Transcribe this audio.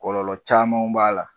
Kɔlɔlɔ caman b'a la